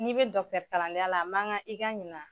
N'i bɛ dɔkitɛrikalandenya la a man kan i ka ɲina.